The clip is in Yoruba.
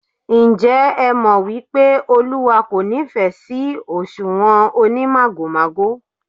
Ǹjẹ́ ẹ mọ̀ wípé Olúwa kò nífẹ̀ sí òṣùwọ̀n onímàgòmágò?